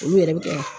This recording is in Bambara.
Olu yɛrɛ bɛ kɛ